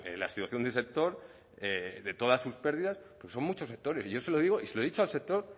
la situación del sector de todas sus pérdidas porque son muchos sectores y yo se lo digo y se lo he dicho al sector